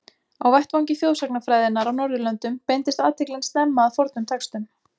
Á vettvangi þjóðsagnafræðinnar á Norðurlöndum beindist athyglin snemma að fornum textum.